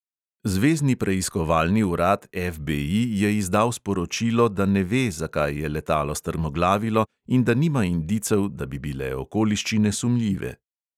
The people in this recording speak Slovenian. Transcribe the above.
Zvezni preiskovalni urad FBI je izdal sporočilo, da ne ve, zakaj je letalo strmoglavilo, in da nima indicev, da bi bile okoliščine sumljive.